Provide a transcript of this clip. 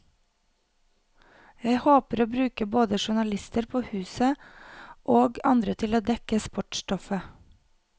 Jeg håper å bruke både journalister på huset, og andre til å dekke sportsstoffet.